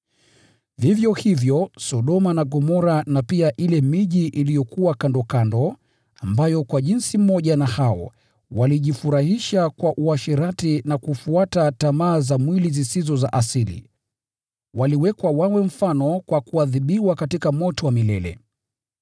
Vivyo hivyo, Sodoma na Gomora na pia ile miji iliyokuwa kandokando, ambayo kwa jinsi moja na hao, walijifurahisha kwa uasherati na kufuata tamaa za mwili zisizo za asili, waliwekwa wawe mfano kwa kuadhibiwa katika moto wa milele.